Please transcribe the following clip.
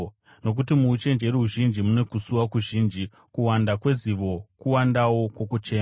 Nokuti muuchenjeri huzhinji mune kusuwa kuzhinji; kuwanda kwezivo, kuwandawo kwokuchema.